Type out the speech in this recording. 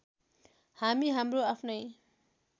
हामी हाम्रो आफ्नै